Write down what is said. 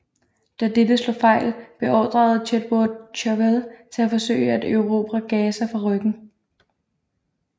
Da dette slog fejl beordrede Chetwode Chauvel til at forsøge at erobre Gaza fra ryggen